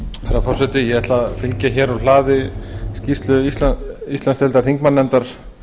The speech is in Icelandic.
herra forseti ég ætla að fylgja hér úr hlaði skýrslu íslandsdeildar þingmannanefndar